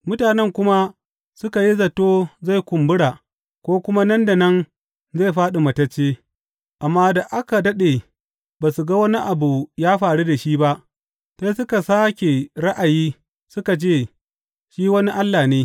Mutanen kuma suka yi zato zai kumbura ko kuma nan da nan zai fāɗi matacce, amma da aka daɗe ba su ga wani abu ya faru da shi ba, sai suka sāke ra’ayi suka ce shi wani allah ne.